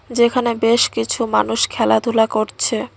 যেখানে বেশ কিছু মানুষ খেলাধুলা করছে।